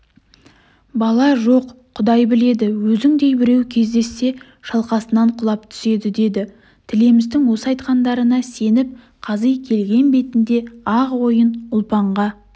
бала жоқ құдай біледі өзіңдей біреу кездессе шалқасынан құлап түседі деді тілемістің осы айтқандарына сеніп қази келген бетінде-ақ ойын ұлпанға